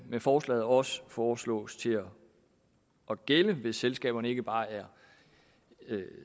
med forslaget også foreslås at gælde hvis selskaberne ikke bare er